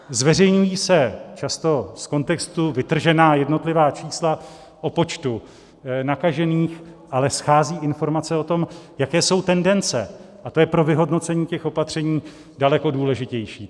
Zveřejňují se často z kontextu vytržená jednotlivá čísla o počtu nakažených, ale schází informace o tom, jaké jsou tendence, a to je pro vyhodnocení těch opatření daleko důležitější.